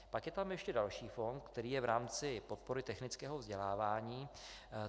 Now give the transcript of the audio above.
Pak je tam ještě další fond, který je v rámci podpory technického vzdělávání.